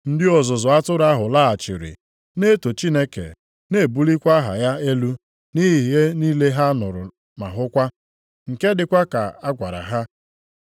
Ndị ọzụzụ atụrụ ahụ laghachiri, na-eto Chineke na-ebulikwa aha ya elu nʼihi ihe niile ha nụrụ ma hụkwa, nke dịkwa ka a gwara ha.